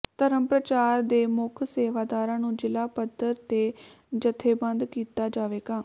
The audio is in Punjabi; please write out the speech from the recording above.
ਧਰਮ ਪ੍ਰਚਾਰ ਦੇ ਮੁਖ ਸੇਵਾਦਾਰਾਂ ਨੂੰ ਜਿਲ੍ਹਾ ਪਧਰ ਤੇ ਜਥੇਬੰਧ ਕੀਤਾ ਜਾਵੇਗਾ